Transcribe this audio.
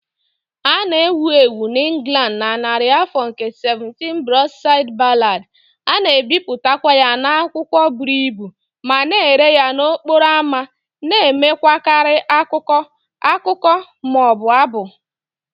A na-ewu ewu n'Ingland na narị afọ nke 17 Broadside Ballad, a na-ebipụtakwa ya n'akwụkwọ buru ibu ma na-ere ya n'okporo ámá, na-enwekarị akụkọ, akụkọ, ma ọ bụ abụ.